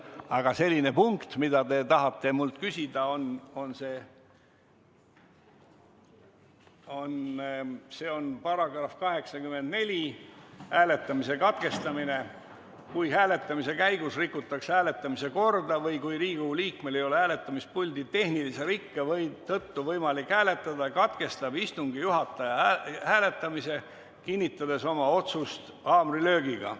Aga paragrahv, mida te minult küsisite, on § 84 "Hääletamise katkestamine": "Kui hääletamise käigus rikutakse hääletamise korda või kui Riigikogu liikmel ei ole hääletamispuldi tehnilise rikke tõttu võimalik hääletada, katkestab istungi juhataja hääletamise, kinnitades oma otsust haamrilöögiga.